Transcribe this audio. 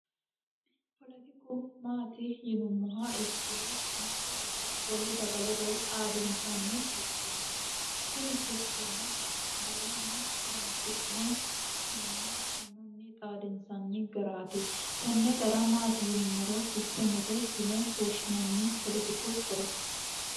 foletiku maati yinummoha ikkiro mitte daga wole daga ledo xaadinsanni sisteemeeti tini sisteeme garunni horonsi'ne manna mannunni xaadinsanni garaati tenne gara maati yinummoro sisteemete yine woshshinanni poletiku horo